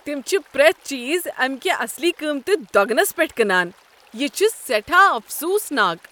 تم چھ پرٛیتھ چیز امہ کہِ اصلی قۭمتہٕ دۄگنس پٮ۪ٹھ کٕنان۔ یہ چھُ سیٹھاہ افسوٗسناک۔